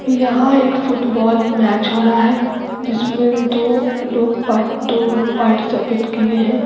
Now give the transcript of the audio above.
यहाँ एक football match हो रहा है जिसमें दो लोग पार्ट दो ग्रुप पार्टिसिपेट किए हैं।